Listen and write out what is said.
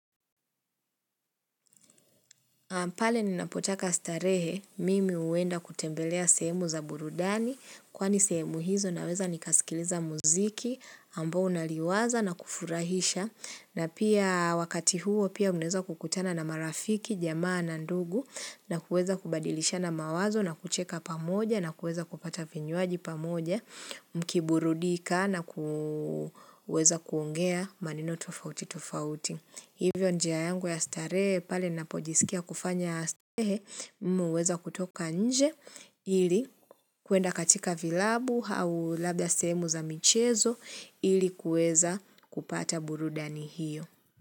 Pale ninapotaka starehe, mimi huenda kutembelea sehemu za burudani, kwani sehemu hizo naweza nikaskiliza muziki, ambo naliwaza na kufurahisha na pia wakati huo pia mnaeza kukutana na marafiki, jamaa na ndugu, na kuweza kubadilishana mawazo, na kucheka pamoja, na kuweza kupata vinyuaji pamoja, mkiburudika, na ku weza kuongea maneno tufauti tufauti. Hivyo njia yangu ya starehe pale napojisikia kufanya s ehe muweza kutoka nje ili kuenda katika vilabu hau labda sehemu za michezo ili kuweza kupata burudani hiyo.